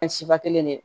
siba kelen de ye